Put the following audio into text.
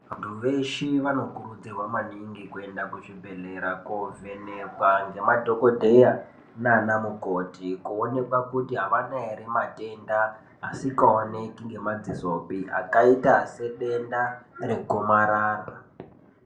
Vantu veshe vanokurudzirwa maningi kuenda kuzvibhedhlera, kovhenekwa ngemadhogodheya nanamukoti kuonekwa kuti avanaere matenda asikaoneki ngemadzisopi, akaita sedenda regomarara.